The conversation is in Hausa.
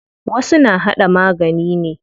Wasu na haɗa magani ne.